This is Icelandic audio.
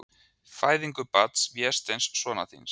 Fæðingu barns, Vésteins, sonar þíns.